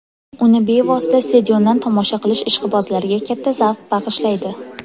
Uni bevosita stadiondan tomosha qilish ishqibozlarga katta zavq bag‘ishlaydi.